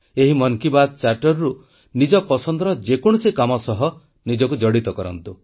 ଏହି ମନ୍ କି ବାତ୍ ଚାର୍ଟରରୁ ନିଜ ପସନ୍ଦର ଯେକୌଣସି କାମ ସହ ନିଜକୁ ଜଡ଼ିତ କରନ୍ତୁ